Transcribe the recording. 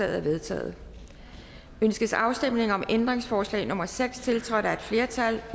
er vedtaget ønskes afstemning om ændringsforslag nummer seks tiltrådt af et flertal